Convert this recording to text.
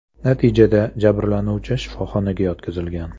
Natijada jabrlanuvchi shifoxonaga yotqizilgan.